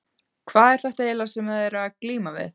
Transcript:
Hvað er þetta eiginlega sem þið eruð að glíma við?